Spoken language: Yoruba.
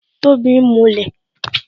Tobi ń mulẹ̀